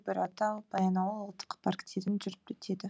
бұйратау баянауыл ұлттық парктерін жүріп кетеді